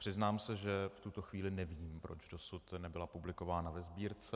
Přiznám se, že v tuto chvíli nevím, proč dosud nebyla publikována ve Sbírce.